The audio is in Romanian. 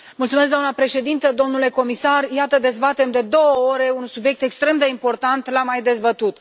Doamna președintă, domnule comisar, iată dezbatem de două ore un subiect extrem de important, l am mai dezbătut.